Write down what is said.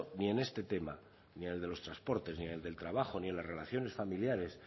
ni en este tema ni en el de los transportes ni en el del trabajo ni las relaciones familiares